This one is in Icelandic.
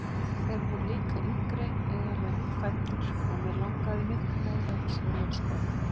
Þeir voru líka yngri, eiginlega nýfæddir, og mig langaði miklu meira í svoleiðis hvolp.